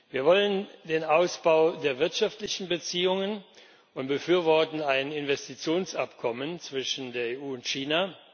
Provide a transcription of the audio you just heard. Wir wollen den Ausbau der wirtschaftlichen Beziehungen und befürworten ein Investitionsabkommen zwischen der EU und China.